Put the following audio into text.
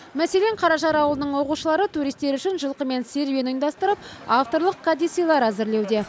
мәселен қаражар ауылының оқушылары туристер үшін жылқымен серуен ұйымдастырып авторлық кәдесыйлар әзірлеуде